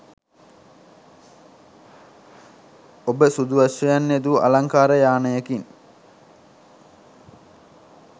ඔබ සුදු අශ්වයන් යෙදූ අලංකාර යානයකින්